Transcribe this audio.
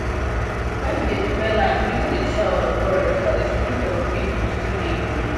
when we dey prepare land we no dey shout or quarrel so that the spirit of peace go still dey ground